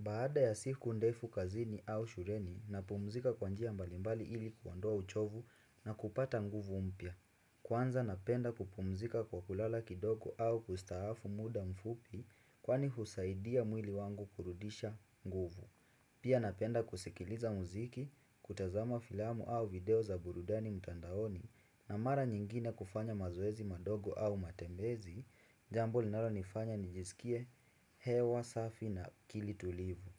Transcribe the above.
Baada ya siku ndefu kazini au shuleni napumzika kwa njia mbalimbali ili kuondoa uchovu na kupata nguvu umpya. Kwanza napenda kupumzika kwa kulala kidogo au kustaafu muda mfupi kwani husaidia mwili wangu kurudisha nguvu. Pia napenda kusikiliza muziki, kutazama filamu au video za burudani mtandaoni na mara nyingine kufanya mazoezi madogo au matembezi. Jambo linalonifanya nijisikie hewa, safi na akili tulivu